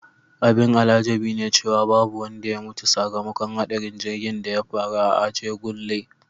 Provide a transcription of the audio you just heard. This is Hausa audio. Abin al'ajabi ne cewa babu wanda ya mutu sakamakon hadarin jirgin da ya faru a Ajegunle.